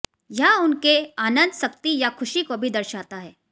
यह उनके आनंद शक्ति या खुशी को भी दर्शाता है